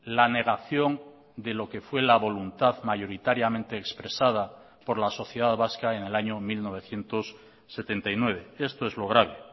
la negación de lo que fue la voluntad mayoritariamente expresada por la sociedad vasca en el año mil novecientos setenta y nueve esto es lo grave